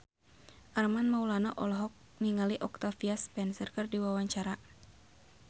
Armand Maulana olohok ningali Octavia Spencer keur diwawancara